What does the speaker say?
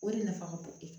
O de nafa ka bon